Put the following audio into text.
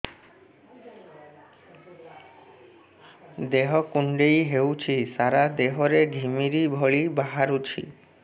ଦେହ କୁଣ୍ଡେଇ ହେଉଛି ସାରା ଦେହ ରେ ଘିମିରି ଭଳି ବାହାରୁଛି